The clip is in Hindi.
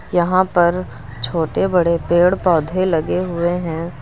यहां पर छोटे बड़े पेड़ पौधे लगे हुए हैं।